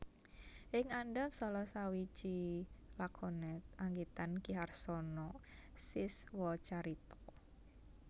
Ing andhap salah sawiji lakonet anggitan Ki Harsono Siswocarito